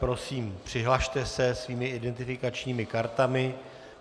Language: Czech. Prosím přihlaste se svými identifikačními kartami.